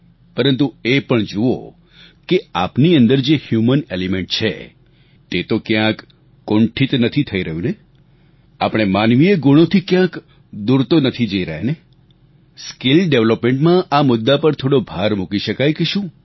પરંતુ એ પણ જુઓ કે આપની અંદર જે હ્યુમન એલીમેન્ટ માનવીય તત્વ છે તે તો ક્યાંક કુંઠિત નથી થઈ રહ્યું ને આપણે માનવીય ગુણોથી ક્યાંક દૂર તો નથી જઈ રહ્યા ને સ્કીલ ડેવેલપમેન્ટમાં આ મુદ્દા પર થોડો ભાર મૂકી શકાય કે શું